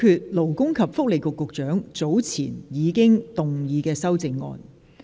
現在表決勞工及福利局局長早前已動議的修正案。